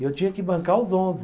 Eu tinha que bancar os onze.